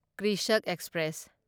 Krishak express